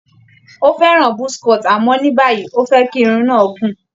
Ó fẹ́ràn buzz cut àmọ́ ní báyìí, ó fẹ́ kí irun náà gùn.